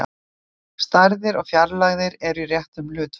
Stærðir og fjarlægðir eru í réttum hlutföllum.